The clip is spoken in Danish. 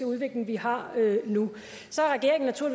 udvikling vi har nu